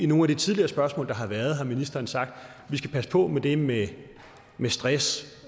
nogle af de tidligere spørgsmål der har været har ministeren sagt at vi skal passe på med det med stress